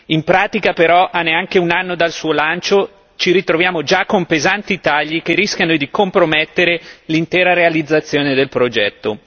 In pratica, però, a neanche un anno dal suo lancio ci ritroviamo già con pesanti tagli che rischiano di compromettere l'intera realizzazione del progetto.